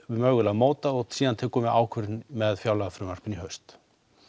mögulega mótað og síðan ákvörðun með fjárlagafrumvarpinu í haust